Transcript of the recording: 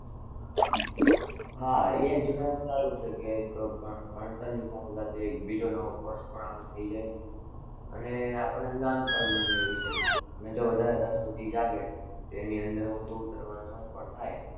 હા એમ જોતા એક સારું છે કે ભણતર ની સાથે સાથે એક બીજો નવો course પણ આપને થઇ જાય. અને આપણને જ્ઞાન પણ મળે અને જો વધારે રસ પછી જાગે તો એના અંદર ઊંડું ઉતારવા નું મન પણ થાય.